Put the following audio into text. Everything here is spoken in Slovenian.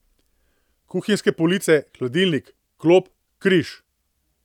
Kuhinjske police, hladilnik, klop, križ.